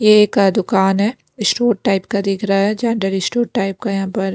ये एक दुकान है स्टोर टाइप का दिख रहा है जनरल स्टोर टाइप का यहां पर--